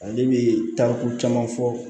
Ale bɛ taa ko caman fɔ